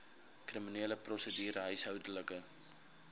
kriminele prosedure huishoudelike